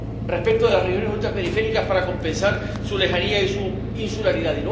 respecto de las regiones ultraperiféricas para compensar su lejanía y su insularidad.